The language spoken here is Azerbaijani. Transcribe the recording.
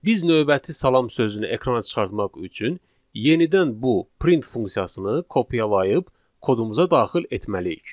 Biz növbəti salam sözünü ekrana çıxartmaq üçün yenidən bu print funksiyasını kopyalayıb kodumuza daxil etməliyik.